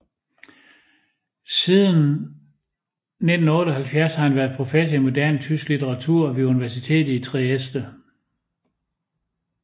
Siden 1978 har han været professor i moderne tysk litteratur ved universitetet i Trieste